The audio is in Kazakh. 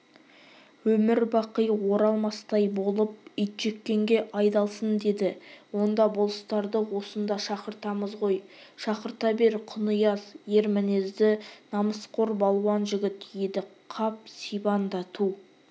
өмір-бақи оралмастай болып итжеккенге айдалсын деді онда болыстарды осында шақыртамыз ғой шақырта бер құнияз ер мінезді намысқор балуан жігіт едіқап сибанда ту